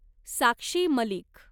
Sakshi Malik